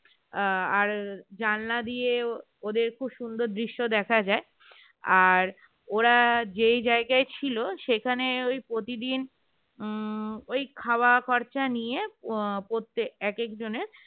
জানলা দিয়ে ওদের খুব সুন্দর দৃশ্য দেখা যায় আর ওরা যে জায়গায় ছিল সেখানে উম ওই প্রতিদিন ওই খাওয়া খরচা নিয়ে প্রতিদিন এক একজনের